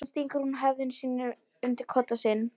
Síðan stingur hún höfðinu undir koddann sinn.